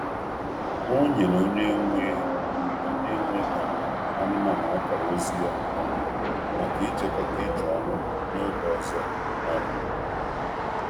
Ọ kesara nọmba ekwentị ya na ekwentị ya na onye nwe anụ ụlọ maka njem n’ọdịnihu.